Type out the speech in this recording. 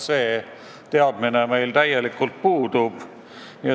See teadmine meil täielikult puudub.